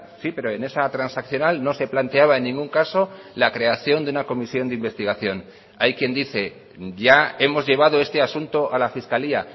sí pero en esa transaccional no se planteaba en ningún caso la creación de una comisión de investigación hay quien dice ya hemos llevado este asunto a la fiscalía